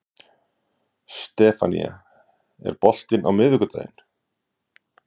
Stefanía, er bolti á miðvikudaginn?